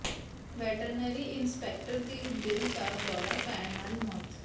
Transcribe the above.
veterinary inspector ਦੀ ਦਿਲ ਦਾ ਦੌਰਾ ਪੈਣ ਨਾਲ ਮੌਤ